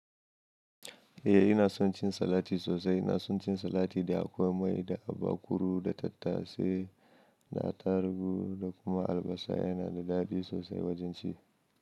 Eh, ina son cin salati sosai. Ina son cin salat da akwai mai, da atakuru, da tattasai, da atarugu da kuma albasa. Yana da daɗi sosai wajen ci.